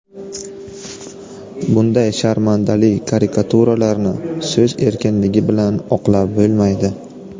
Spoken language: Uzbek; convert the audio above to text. Bunday sharmandali karikaturalarni so‘z erkinligi bilan oqlab bo‘lmaydi”.